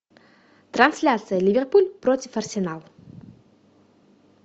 трансляция ливерпуль против арсенала